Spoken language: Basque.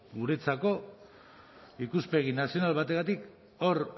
guretzako ikuspegi nazional bategatik hor